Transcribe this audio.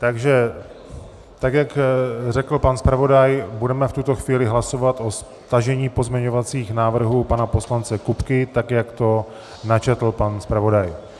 Takže tak, jak řekl pan zpravodaj, budeme v tuto chvíli hlasovat o stažení pozměňovacích návrhů pana poslance Kupky tak, jak to načetl pan zpravodaj.